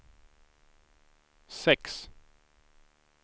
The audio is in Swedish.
sex